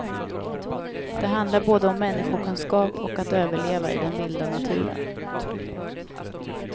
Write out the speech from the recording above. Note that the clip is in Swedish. Det handlar både om människokunskap och att överleva i den vilda naturen.